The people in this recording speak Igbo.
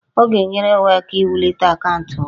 Ọ ga-enyere ya aka iwulite akaụntụ ya